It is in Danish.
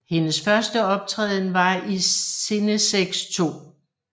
Hendes første optræden var i Cinesex 2